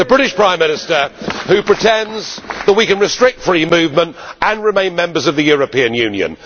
The British Prime Minister who pretends that we can restrict free movement and remain members of the European Union.